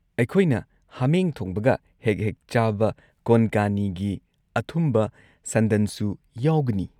ꯑꯩꯈꯣꯏꯅ ꯍꯥꯃꯦꯡ ꯊꯣꯡꯕꯒ ꯍꯦꯛ ꯍꯦꯛ ꯆꯥꯕ ꯀꯣꯟꯀꯥꯅꯤꯒꯤ ꯑꯊꯨꯝꯕ ꯁꯟꯗꯟꯁꯨ ꯌꯥꯎꯒꯅꯤ꯫